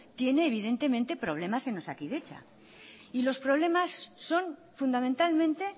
tiene evidentemente problemas en osakidetza y los problemas son fundamentalmente